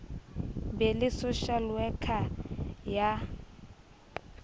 be le social worker ya